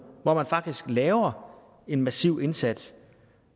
hvor man faktisk laver en massiv indsats